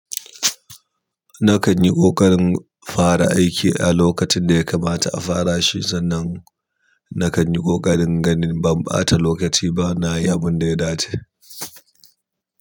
Nakan yi ƙoƙarin fara aiki a lokacin da ya kamata a fara shi sannan na kanyia ƙoƙarin ganin ban ɓata lokaci ba na yi abun da ya dace.